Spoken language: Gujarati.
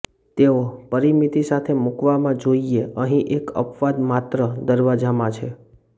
તેઓ પરિમિતિ સાથે મૂકવામાં જોઇએ અહીં એક અપવાદ માત્ર દરવાજામાં છે